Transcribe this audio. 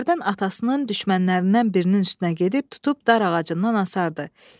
Hərdən atasının düşmənlərindən birinin üstünə gedib tutub dar ağacından asardı.